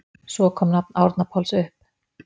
Svo kom nafn Árna Páls upp.